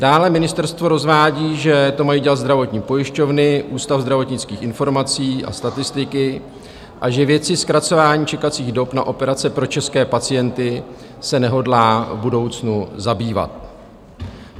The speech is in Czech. Dále ministerstvo rozvádí, že to mají dělat zdravotní pojišťovny, Ústav zdravotnických informací a statistiky a že věcí zkracování čekacích dob na operace pro české pacienty se nehodlá v budoucnu zabývat.